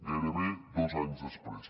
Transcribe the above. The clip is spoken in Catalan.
gairebé dos anys després